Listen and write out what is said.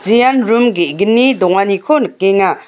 ean room ge·gni donganiko nikenga.